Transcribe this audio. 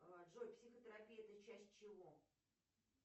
джой психотерапия это часть чего